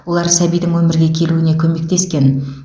олар сәбидің өмірге келуіне көмектескен